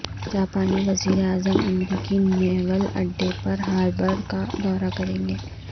جاپانی وزیر اعظم امریکی نیول اڈے پرل ہاربر کا دورہ کریں گے